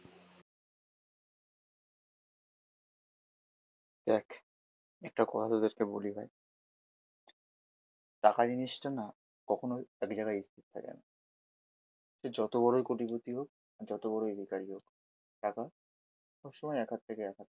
দেখ একটা কথা তোদেরকে বলি ভাই টাকা জিনিসটা না কখনোই এক জায়গায় স্থির থাকেনা। সে যত বড়োই কোটিপতি হোক আর যত বড়োই ভিক্ষারী হোক, টাকা সবসময় এক হাত থেকে এক হাতে